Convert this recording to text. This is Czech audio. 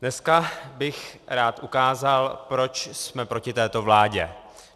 Dneska bych rád ukázal, proč jsme proti této vládě.